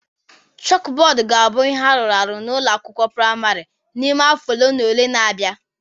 Chalkboard ga-abụ ihe arụrụ arụ n'ụlọ akwụkwọ praịmarị n'ime afọ ole na ole na-abịa